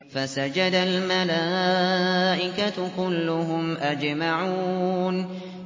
فَسَجَدَ الْمَلَائِكَةُ كُلُّهُمْ أَجْمَعُونَ